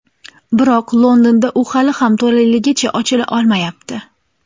Biroq Londonda u hali ham to‘laligicha ochila olmayapti.